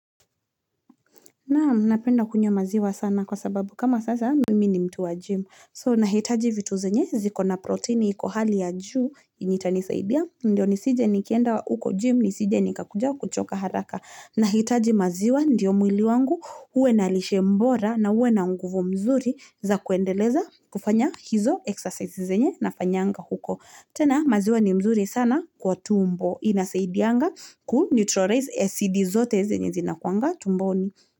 Naam, napenda kunywa maziwa sana kwa sababu kama sasa mimi ni mtu wa gym. So, nahitaji vitu zenye zikona proteini iko hali ya juu yenye itanisaidia. Ndio nisije nikienda uko gym nisije nikakuja kuchoka haraka. Nahitaji maziwa ndiyo mwili wangu. Uwe nalishe bora na uwe na nguvu mzuri za kuendeleza kufanya hizo exercise zenye nafanyanga huko. Tena maziwa ni mzuri sana kwa tumbo. Na, maziwa ni kufanya hizo eksasesi zenye na fanyanga huko.